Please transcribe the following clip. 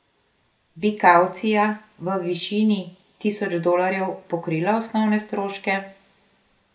Bi kavcija v višini tisoč dolarjev pokrila osnovne stroške?